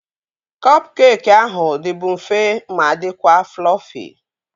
Kọp keekị ahụ dịbu mfe ma dịkwa flọfi